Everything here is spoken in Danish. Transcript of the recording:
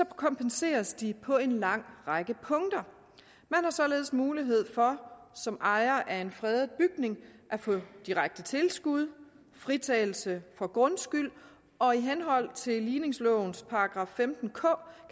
det kompenseres de på en lang række punkter man har således mulighed for som ejer af en fredet bygning at få direkte tilskud og fritagelse for grundskyld og i henhold til ligningslovens § femten k